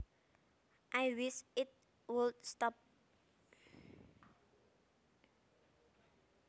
I wish it would stop